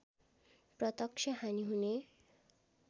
प्रत्यक्ष हानि हुने